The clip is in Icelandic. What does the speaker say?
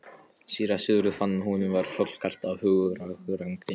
Síra Sigurður fann að honum var hrollkalt af hugarangri.